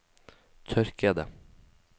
tørkede